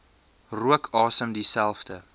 rook asem dieselfde